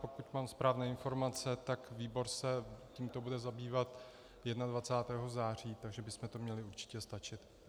Pokud mám správné informace, tak výbor se tímto bude zabývat 21. září, takže bychom to měli určitě stačit.